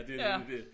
Det nemlig det